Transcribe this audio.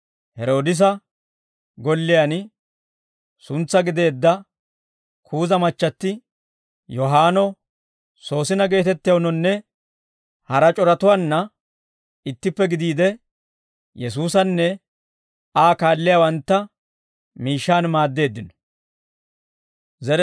Heroodisa golliyaan suntsaa gideedda Kuuza machchatti Yohaanno, Soosina geetettewunnanne hara c'oratuwaanna ittippe gidiide, Yesuusanne Aa kaalliyaawantta miishshaan maaddeeddino.